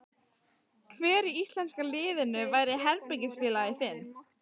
Hver í íslenska liðinu væri herbergisfélagi þinn?